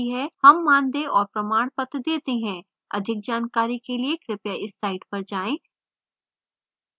हम मानदेय और प्रमाणपत्र details हैं अधिक जानकारी के लिए कृपया इस site पर जाएँ